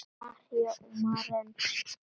María og Maren.